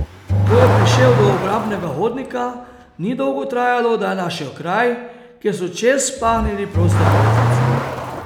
Ko je prišel do obrambnega hodnika, ni dolgo trajalo, da je našel kraj, kjer so čez pahnili prostega jezdeca.